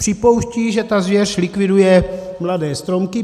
Připouštějí, že ta zvěř likviduje mladé stromky.